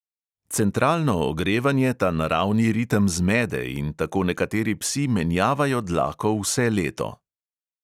Centralno ogrevanje ta naravni ritem zmede in tako nekateri psi menjavajo dlako vse leto.